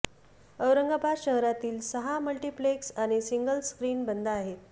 औरंगाबाद शहरातील सहा मल्टिप्लेक्स आणि सिंगल स्क्रिन बंद आहेत